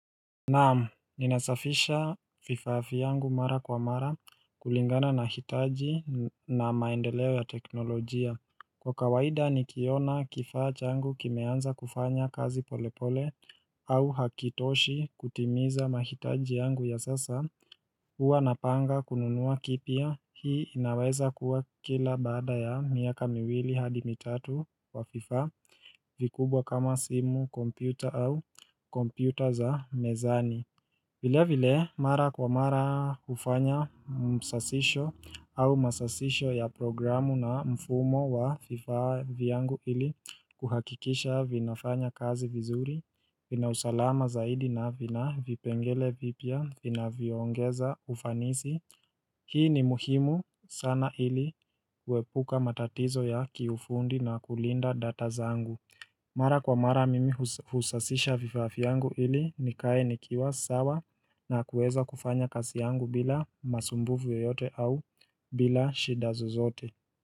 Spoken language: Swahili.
Naam, ninasafisha vifaa vyangu mara kwa mara kulingana na hitaji na maendeleo ya teknolojia. Kwa kawaida nikiona kifaa changu kimeanza kufanya kazi polepole au hakitoshi kutimiza mahitaji yangu ya sasa Huwa napanga kununua kipya hii inaweza kuwa kila baada ya miaka miwili hadi mitatu wa vifaa vikubwa kama simu kompyuta au kompyuta za mezani vile vile, mara kwa mara hufanya msasisho au masasisho ya programu na mfumo wa fifa vyangu ili kuhakikisha vinafanya kazi vizuri, vina usalama zaidi na vina vipengele vipya, vinavyoongeza ufanisi. Hii ni muhimu sana ili kuepuka matatizo ya kiufundi na kulinda data zangu. Mara kwa mara mimi husasisha vifaa vyangu ili nikae nikiwa sawa na kuweza kufanya kazi yangu bila masumbuvu yoyote au bila shida zozote.